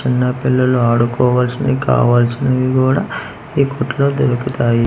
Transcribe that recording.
చిన్న పిల్లలు ఆడుకోవాల్సింది కావాల్సినవి గూడా ఈ కొట్లో దొరుకుతాయి.